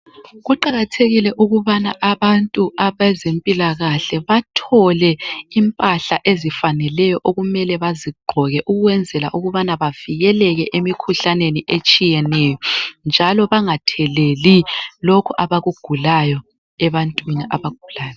Kuqakathekile ukubana abantu bezempilakahle bathole impahla ezifaneleyo okumele bazigqoke ukwenzela ukubana bavikeleke emikhuhlaneni etshiyeneyo, njalo bangatheleli lokhu abakugulayo ebantwini abagulayo.